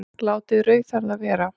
Látið rauðhærða vera